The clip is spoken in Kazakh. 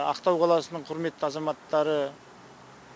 ақтау қаласының құрметті азаматтары